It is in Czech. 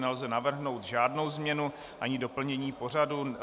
Nelze navrhnout žádnou změnu ani doplnění pořadu.